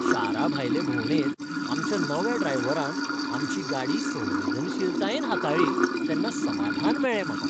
शाराभायले भोंवडेंत आमच्या नव्या ड्रायव्हरान आमची गाडी संवेदनशीलतायेन हाताळ्ळी तेन्ना समाधान मेळ्ळें म्हाका.